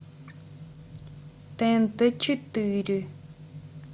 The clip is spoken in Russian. тнт четыре